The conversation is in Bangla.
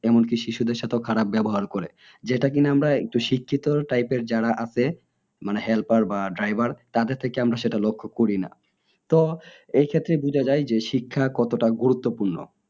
এমনকি শিশুদের সাথেও খারাপ ব্যবহার করে যেটা কিনা আমরা একটু শিক্ষিত type এর যারা আছে মানে helper বা driver তাদের থেকে সেটা আমরা লক্ষ্য করি না তো এই ক্ষেত্রে বোঝা যাই যে শিক্ষা কতোটা গুরুত্বপূর্ণ